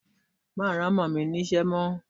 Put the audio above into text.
Má rán Ọmọ mi ní ṣẹ́ mọ́.